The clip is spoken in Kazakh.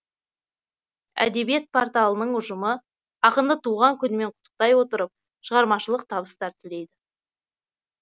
әдебиет порталының ұжымы ақынды туған күнімен құттықтай отырып шығармашылық табыстар тілейді